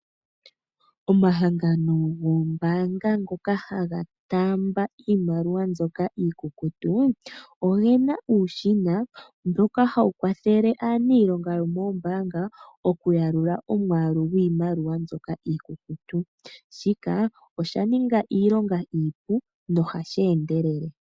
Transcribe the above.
Omahangano goombanga ngoka haga taamba iimaliwa mbyoka iikukutu ogena uushina mboka hawu kwathele aanilonga yookombanga okuya lula omwalu gwiimaliwa mbyoka iikukutu shika osha ninga iilonga iipu no hashi endelele.